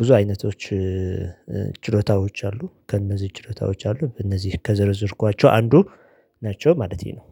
ብዙ አይነቶች ችሎታዎች አሉ ከእነዚህ ችሎታዎች አሉ በእነዚህ ከዘረዘርኳቸው አንዱ ናቸው ማለቴ ነው